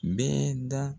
Bɛɛ da